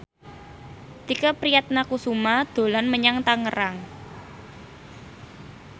Tike Priatnakusuma dolan menyang Tangerang